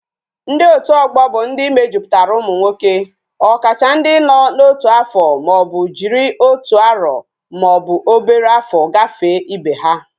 Ndi otu ogbo bu ndi mejuputara umu nwoke, okacha ndi no na otu afo ma obu jiri otu aro ma obu obere afo gafe Ibe ha